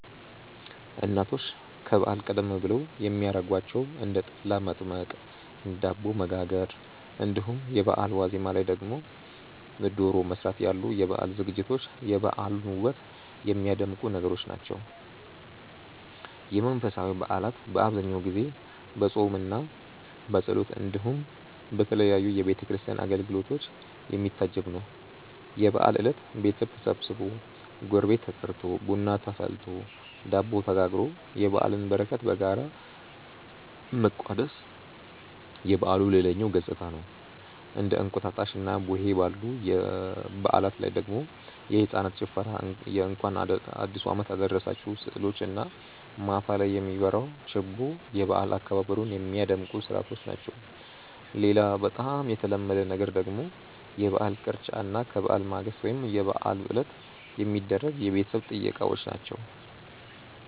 እናቶች ከበዓል ቀደም ብለው የሚያረጓቸው እንደ ጠላ መጥመቅ፣ ዳቦ መጋገር እንዲሁም የበአሉ ዋዜማ ላይ ደግሞ ዶሮ መስራት ያሉ የበዓል ዝግጅቶች የበዓሉን ውበት የሚያደምቁ ነገሮች ናቸው። የመንፈሳዊ በዓላት በአብዛኛው ጊዜ በፆምምና በጸሎት እንዲሁም በተለያዩ የቤተ ክርስቲያን አገልግሎቶች የሚታጀብ ነው። የበዓል እለት ቤተሰብ ተሰብስቦ፣ ጎረቤት ተጠርቶ፣ ቡና ተፈልቶ፣ ዳቦ ተጋግሮ የበዓልን በረከት በጋራ መቋደስ የበዓሉ ሌላኛው ገፅታ ነው። እንደ እንቁጣጣሽና ቡሄ ባሉ በዓላት ላይ ደግሞ የህፃናት ጭፈራ የእንኳን አዲሱ አመት አደረሳችሁ ስዕሎች እና ማታ ላይ የሚበራው ችቦ የበዓል አከባበሩን ሚያደምቁ ስርዓቶች ናቸው። ሌላ በጣም የተለመደ ነገር ደግሞ የበዓል ቅርጫ እና ከበዓል ማግስት ወይም የበዓል ዕለት የሚደረጉ የቤተሰብ ጥየቃዎች ናቸው።